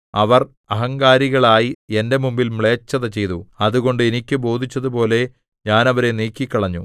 അവർ അഹങ്കാരികളായി എന്റെ മുമ്പിൽ മ്ലേച്ഛത ചെയ്തു അതുകൊണ്ട് എനിക്ക് ബോധിച്ചതുപോലെ ഞാൻ അവരെ നീക്കിക്കളഞ്ഞു